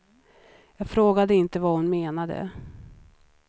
Jag frågade inte vad hon menade.